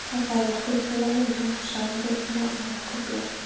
Það fær okkur til að muna, sár rifna og okkur blæðir.